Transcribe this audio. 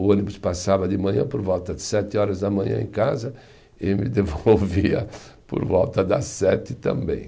O ônibus passava de manhã por volta de sete horas da manhã em casa e me devolvia por volta das sete também.